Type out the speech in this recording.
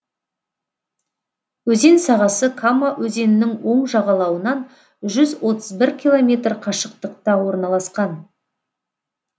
өзен сағасы кама өзенінің оң жағалауынан жүз отыз бір километр қашықтықта орналасқан